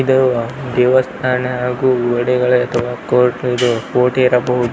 ಇದು ದೇವಸ್ಥಾನ ಹಾಗು ಗೋಡೆಗಳ ಎದುರು ಕೋರ್ಟ್ ಇದು ಕೋರ್ಟ್ ಇರಬಹುದು.